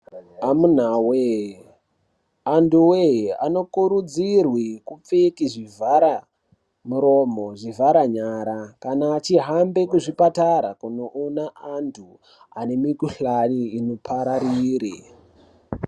Amunawee, antuwee anokurudzirwe kupfeke zvivharamuromo, zvivharanyara kana achihambe kuzvipatara kunoone antu ane mukhuhlani inopararire.